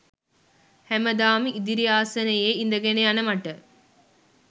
හැමදාම ඉදිරි ආසනයේ ඉඳගෙන යන මට